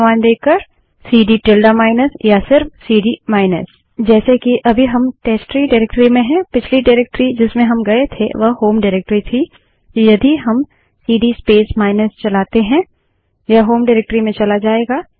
CD narration CD space tilde minus या केवल CD narration CD space minus जैसे कि अभी हम टेस्टट्री डाइरेक्टरी में हैं पिछली डाइरेक्टरी जिसमें हम गये थे वह होम डाइरेक्टरी थी तो यदि हम सीडी स्पेस माइनस चलाते हैं यह होम डाइरेक्टरी में चला जायेगा